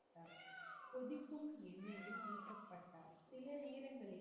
சில நேரங்களில்,